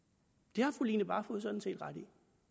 det har fru line barfod sådan set ret i